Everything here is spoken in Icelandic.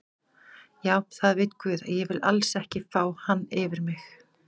Já það veit guð að ég vil alls ekki fá hann yfir mig.